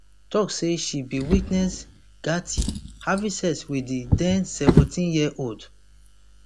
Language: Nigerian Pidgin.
tok say she bin witness gaetz having sex wit di den seventeenyearold